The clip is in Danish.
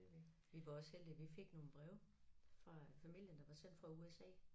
Vi var også heldige vi fik nogle breve fra familien der var sendt fra USA